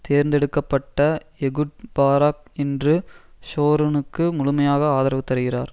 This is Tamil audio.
தேர்ந்து எடுக்க பட்ட எகுட் பாராக் இன்று ஷோரொனுக்கு முழுமையாக ஆதரவு தருகிறார்